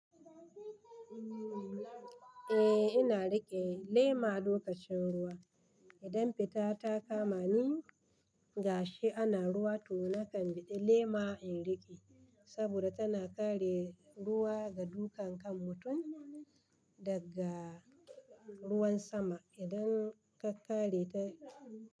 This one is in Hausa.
Eh ina riƙe lema lokacin ruwa. Idan fita ta kama ni gashi ana ruwa to na kan biɗe lema in riƙe saboda tana kare ruwa da duka kan mutum daga ruwan sama. Idan ka kare ta.